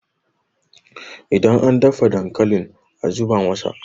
idan an dafa dankalin a zubo masa!